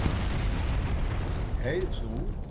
Hey þú.